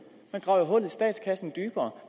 man graver i statskassen dybere